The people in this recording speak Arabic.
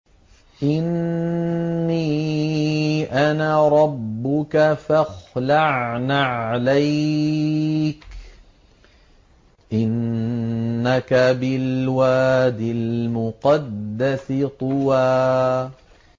إِنِّي أَنَا رَبُّكَ فَاخْلَعْ نَعْلَيْكَ ۖ إِنَّكَ بِالْوَادِ الْمُقَدَّسِ طُوًى